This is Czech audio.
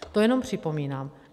To jenom připomínám.